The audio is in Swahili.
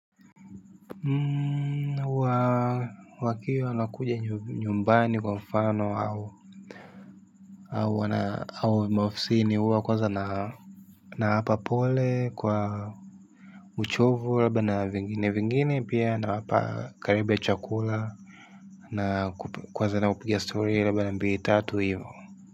Huwa wakio anakuja nyumbani kwa mfano au wana au maofisini huwa kwaza na nawapa pole kwa uchovu labda na vingine vingine pia nawapa karibu ya chakula na kuanza na kupiga story laba na mbili tatu hivyo.